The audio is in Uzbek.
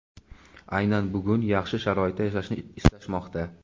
aynan bugun yaxshi sharoitda yashashni istashmoqda.